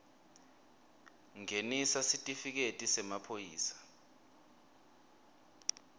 ngenisa sitifiketi semaphoyisa